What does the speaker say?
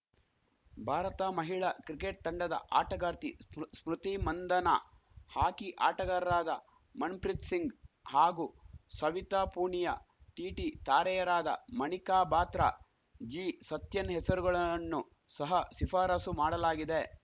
ಭಾರತ ಮಹಿಳಾ ಕ್ರಿಕೆಟ್‌ ತಂಡದ ಆಟಗಾರ್ತಿ ಸ್ಮ್ ಸ್ಮೃತಿ ಮಂಧನಾ ಹಾಕಿ ಆಟಗಾರರಾದ ಮಣ್ ಪ್ರೀತ್‌ ಸಿಂಗ್‌ ಹಾಗೂ ಸವಿತಾ ಪೂಣಿಯಾ ಟಿಟಿ ತಾರೆಯರಾದ ಮಣಿಕಾ ಬಾತ್ರಾ ಜಿಸತ್ಯನ್‌ ಹೆಸರುಗಳಣ್ಣು ಸಹ ಶಿಫಾರಸು ಮಾಡಲಾಗಿದೆ